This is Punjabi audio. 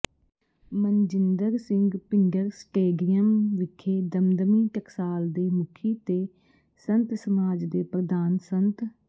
ਮਨਜਿੰਦਰ ਸਿੰਘ ਭਿੰਡਰ ਸਟੇਡੀਅਮ ਵਿਖੇ ਦਮਦਮੀ ਟਕਸਾਲ ਦੇ ਮੁਖੀ ਤੇ ਸੰਤ ਸਮਾਜ ਦੇ ਪ੍ਰਧਾਨ ਸੰਤ